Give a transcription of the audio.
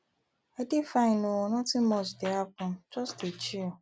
i dey fine oo nothing much dey happen just dey chill